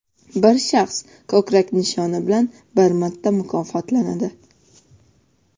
Bir shaxs ko‘krak nishoni bilan bir marta mukofotlanadi.